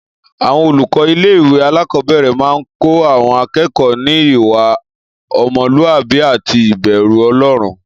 Àwon olùkó ilé ìwé alákòóbèrè máa n kó àwon akékòó ní îwà omolúàbí àti ìbèrú Olórun